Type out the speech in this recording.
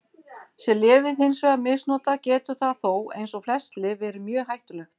Sé lyfið hins vegar misnotað getur það þó, eins og flest lyf, verið mjög hættulegt.